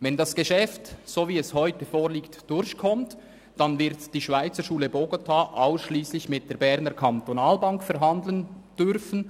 Wenn das Geschäft so durchkommt, wie es heute vorliegt, dann wird die Schweizerschule Bogotá ausschliesslich mit der BEKB verhandeln dürfen.